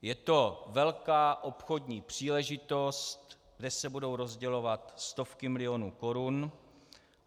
Je to velká obchodní příležitost, kde se budou rozdělovat stovky milionů korun.